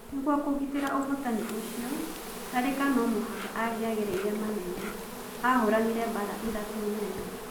Nĩ guo kũgitĩ ra ũhotani ũcio, Tharĩ ka no mũhaka angĩ agereire manene, ahũranire mbara ithatũ nene.